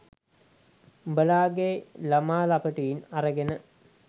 උඹලගේ ළමා ලපටින් අරගෙන